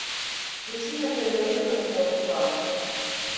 включи на тв евроспорт два